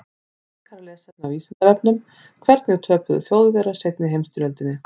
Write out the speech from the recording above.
Frekara lesefni á Vísindavefnum: Hvernig töpuðu Þjóðverjar seinni heimsstyrjöldinni?